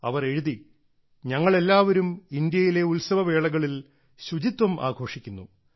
അവർ എഴുതി ഞങ്ങൾ എല്ലാവരും ഇന്ത്യയിലെ ഉത്സവവേളകളിൽ ശുചിത്വം ആഘോഷിക്കുന്നു